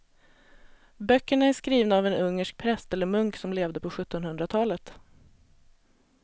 Böckerna är skrivna av en ungersk präst eller munk som levde på sjuttonhundratalet.